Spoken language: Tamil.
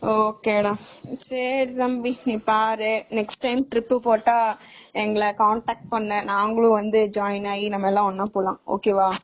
Ok டா சரி தம்பி நீ பாரு next time trip போட்ட எங்கள contact பண்ணு.நாங்களும் join ஆகி நம்ம எல்லாம் ஒண்ணா போகலாம் வா வந் joi து